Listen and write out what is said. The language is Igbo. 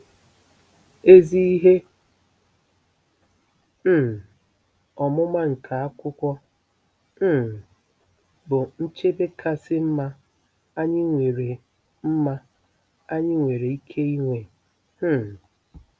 Ezi ihe um ọmụma nke akwụkwọ um bụ nchebe kasị mma anyị nwere mma anyị nwere ike inwe um.